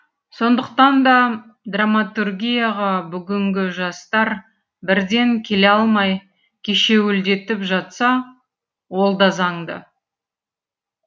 сондықтан да драматургияға бүгінгі жастар бірден келе алмай кешеуілдетіп жатса ол да заңды